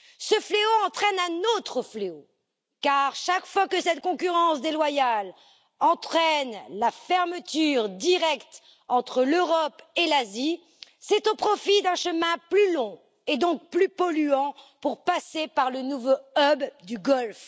Ce fléau entraîne un autre fléau, car chaque fois que cette concurrence déloyale cause la fermeture d'une liaison directe entre l'Europe et l'Asie, c'est au profit d'un chemin plus long, donc plus polluant, pour passer par le nouveau hub du Golfe.